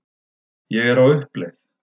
Ég er á uppleið.